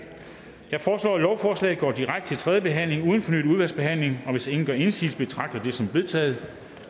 jeg foreslår at lovforslaget går direkte til tredje behandling uden fornyet udvalgsbehandling og hvis ingen gør indsigelse betragter jeg det som vedtaget